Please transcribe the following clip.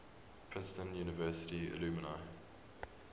princeton university alumni